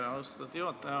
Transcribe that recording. Aitäh, austatud juhataja!